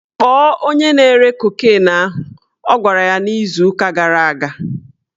Kpọọ onye na-ere kokin ahụ! Ọ gwara ya n'izu ụka gara aga